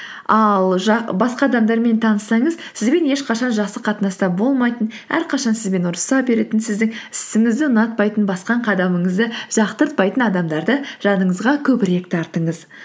ал басқа адамдармен таныссаңыз сізбен ешқашан жақсы қатынаста болмайтын әрқашан сізбен ұрыса беретін сіздің ісіңізді ұнатпайтын басқан қадамыңызды жақтыртпайтын адамдарды жаныңызға көбірек тартыңыз